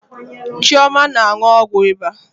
Chioma na-aṅụ ọgwụ ịba.